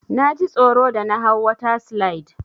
Naji tsoro da na hau water slide.